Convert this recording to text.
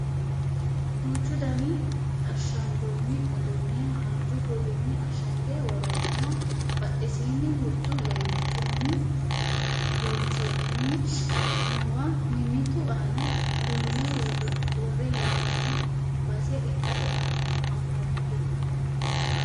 Duuchu daniha ashshangoonni uduunne haanju kuulinni ashshange worroonniha badhesiinni huxxu leemmichunni loonsoonnihu noowa mimmitu aana duunne worrehee'noonno base ikkase anfannite